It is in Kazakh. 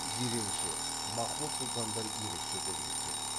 жиренше махмұд сұлтандар ерекше көзге түседі